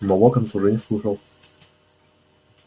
но локонс уже не слушал